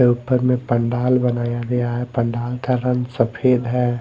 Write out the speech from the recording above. ऊपर में पंडाल बनाया गया है पंडाल का रंग सफेद है।